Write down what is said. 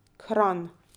Kranj.